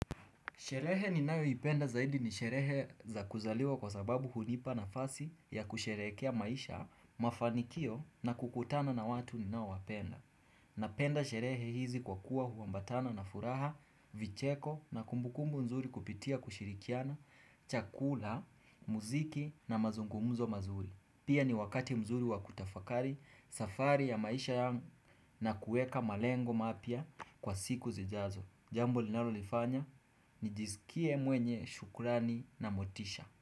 Sherehe ninayoipenda zaidi ni sherehe za kuzaliwa kwa sababu hunipa nafasi ya kusherehekea maisha mafanikio na kukutana na watu ninaowapenda. Napenda sherehe hizi kwa kuwa huambatana na furaha, vicheko na kumbukumbu nzuri kupitia kushirikiana, chakula, muziki na mazungumzo mazuri. Pia ni wakati mzuri wa kutafakari, safari ya maisha na kuweka malengo mapya kwa siku zijazo. Jambo linalonifanya nijiskie mwenye shukrani na motisha.